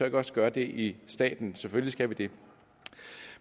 ikke også gøre det i staten selvfølgelig skal vi det